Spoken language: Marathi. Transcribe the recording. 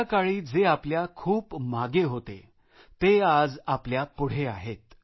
त्याकाळी जे आपल्या खूप मागे होते ते आज आपल्या पुढे आहेत